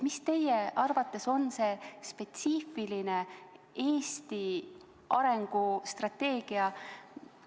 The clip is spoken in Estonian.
Mis teie arvates on spetsiifiline Eesti arengustrateegia?